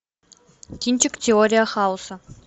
кинчик теория хаоса